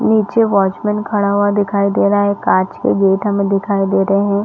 नीचे वॉचमैन खड़ा हुआ दिखाई दे रहा है काँच के गेट हमें दिखाई दे रहे है।